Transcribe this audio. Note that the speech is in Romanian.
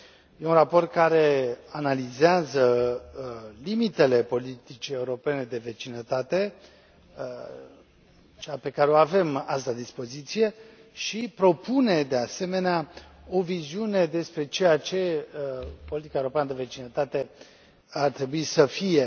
E un raport care analizează limitele politicii europene de vecinătate, cea pe care o avem azi la dispoziție, și propune, de asemenea, o viziune despre ceea ce politica europeană de vecinătate ar trebui să fie.